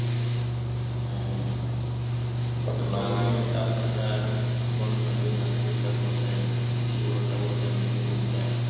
আপনার । গত দুই তিনদিনের তাপমাত্রার বর্ননা দিয়েন আজকের তাপমাত্রার বর্ননাটা বলেন কি অবস্থা?